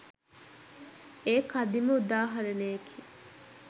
එය කදිම උදාහරණයකි.